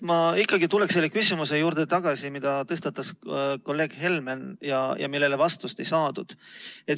Ma ikkagi tulen tagasi selle küsimuse juurde, mille tõstatas kolleeg Helmen ja millele vastust ei saadud.